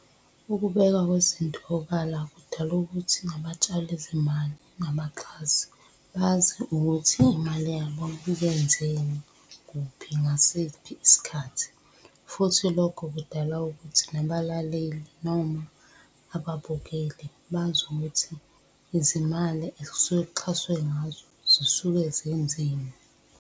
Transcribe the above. Ukubeka kwezinto obala kudala ukuthi nabatshali zimali nabaxhasi, bazi ukuthi imali yabo ibenzeni, kuphi, ngasiphi isikhathi, futhi lokho kudala ukuthi nabalaleli noma ababukeli bazi ukuthi izimali ekusuke kuxhaswe ngazo zisuke zenzeni.